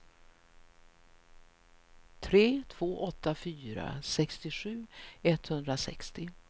tre två åtta fyra sextiosju etthundrasextio